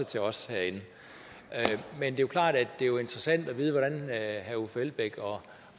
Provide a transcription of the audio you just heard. til os herinde men det er klart at det jo er interessant at vide hvordan herre uffe elbæk